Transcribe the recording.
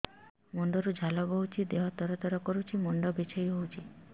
ମୁଣ୍ଡ ରୁ ଝାଳ ବହୁଛି ଦେହ ତର ତର କରୁଛି ମୁଣ୍ଡ ବିଞ୍ଛାଇ ହଉଛି